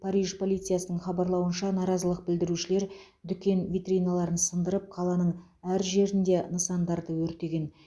париж полициясының хабарлауынша наразылық білдірушілер дүкен витриналарын сындырып қаланың әр жерінде нысандарды өртеген